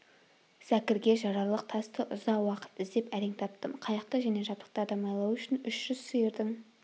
зәкірге жарарлық тасты ұзақ уақыт іздеп әрең таптым қайықты және жабдықтарды майлау үшін үш жүз сиырдың